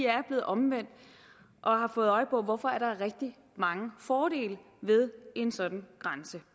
er blevet omvendt og har fået øje på hvorfor der er rigtig mange fordele ved en sådan grænse